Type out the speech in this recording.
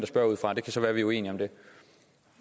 spørger ud fra det kan så være vi er uenige om det